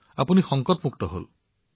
আপুনি সংকটমুক্ত হল